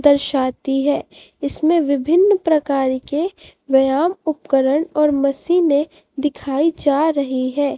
दर्शाती है इसमें विभिन्न प्रकार के व्यायाम उपकरण और मशीने दिखाई जा रही है।